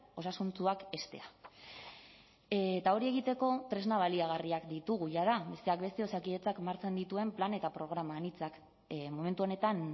osasuntsuak heztea eta hori egiteko tresna baliagarriak ditugu jada besteak beste osakidetzak martxan dituen plan eta programa anitzak momentu honetan